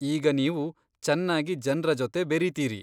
ಈಗ ನೀವು ಚನ್ನಾಗಿ ಜನ್ರ ಜೊತೆ ಬೆರೀತೀರಿ.